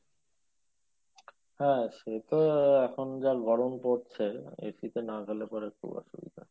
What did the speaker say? হ্যাঁ সে তো এখন যা গরম পড়ছে AC তে না গেলে পরে খুব অসুবিধা